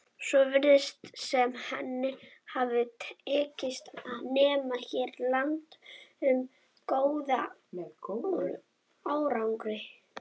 Svo virðist sem henni hafi tekist að nema hér land með góðum árangri.